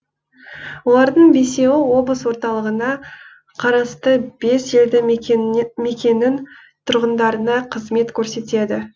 олардың бесеуі облыс орталығына қарасты бес елді мекеннің тұрғындарына қызмет көрсетеді